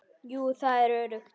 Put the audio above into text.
Jú, það er öruggt.